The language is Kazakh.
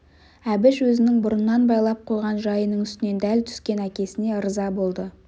әбіш өзінің бұрыннан байлап қойған жайының үстінен дәл түскен әкесіне ырза болды